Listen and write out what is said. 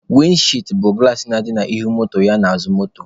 Windi chịịd bụ gụlas na-adị n'ihu moto ya n'azụ moto.